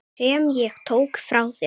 Sem ég tók frá þér.